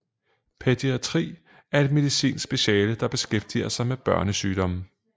Pædiatri er et medicinsk speciale der beskæftiger sig med børnesygdomme